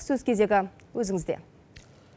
сөз кезегі өзіңізде